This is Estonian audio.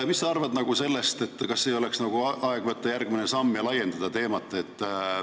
Mis sa arvad, kas ei oleks aeg teha järgmine samm ja laiendada teemat?